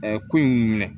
ko in minɛ